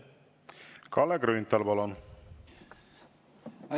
Kalle Grünthal, palun!